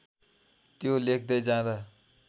त्यो लेख्दै जाँदा